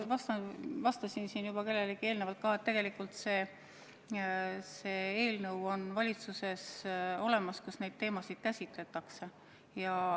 Ma juba ütlesin kellelegi vastates, et tegelikult on valitsuses olemas eelnõu, kus neid teemasid käsitletakse.